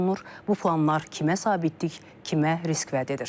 Bu planlar kimə sabitlik, kimə risk vəd edir?